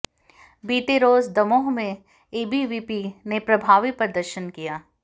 बीते रोज दमोह में एबीवीपी ने प्रभावी प्रदर्शन किया